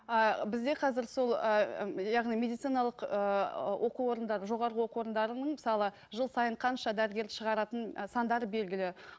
а бізде қазір сол ы яғни медициналық ыыы оқу орындары жоғарғы оқу орындарының мысалы жыл сайын қанша дәрігер шығаратын ы сандары белгілі